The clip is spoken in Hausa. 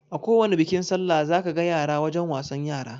Akowani bikin sallah za ka ga yara wajen wasan yara